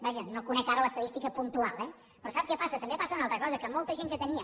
vaja no conec ara l’estadística puntual eh però sap què passa també passa una altra cosa que molta gent que tenia